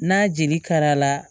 N'a jeli karala